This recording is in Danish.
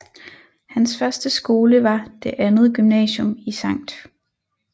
Hans første skole var Det Andet Gymnasium i Skt